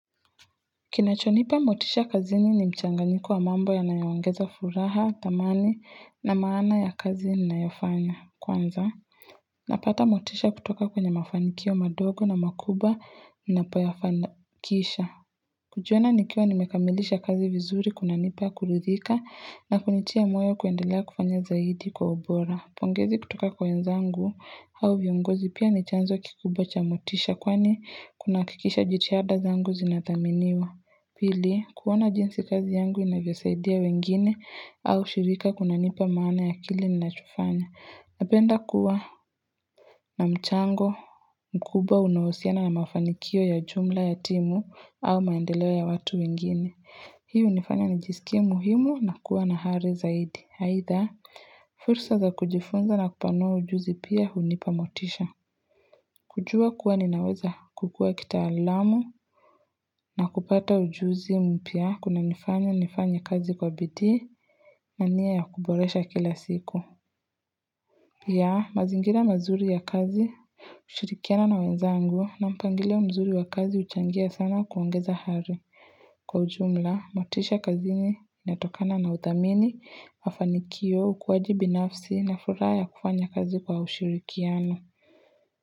Kinachonipa motisha kazini ni mchanganyiko wa mambo yanayoongeza furaha, thamani na maana ya kazini ninayofanya kwanza. Napata motisha kutoka kwenye mafanikio madogo na makumbwa ninapoyafanikisha kujiona nikiwa nimekamilisha kazi vizuri kunanipa kuridhika na kunitia moyo kuendelea kufanya zaidi kwa ubora. Pongezi kutoka kwa wenzangu au viongozi pia ni chanzo kikubwa cha motisha kwani kunahakikisha jitihada zangu zinathaminiwa. Pili, kuona jinsi kazi yangu inavyosaidia wengine au shirika kunanipa maana ya kile ninachofanya Napenda kuwa na mchango, mkubwa unaohusiana na mafanikio ya jumla ya timu au maendeleo ya watu wengine. Hii hunifanya nijiskie muhimu na kuwa na ari zaidi. Either, fursa za kujifunza na kupanua ujuzi pia hunipa motisha. Kujua kuwa ninaweza kukua kitaalamu na kupata ujuzi mpya kunanifanya nifanya kazi kwa bidii na nia ya kuboresha kila siku. Ya, mazingira mazuri ya kazi, kushirikiana na wenzangu na mpangilio mzuri wa kazi huchangia sana kuongeza ari. Kwa ujumla, motisha kazini inatokana na uthamini, mafanikio, ukuaji binafsi na furaha ya kufanya kazi kwa ushirikiano.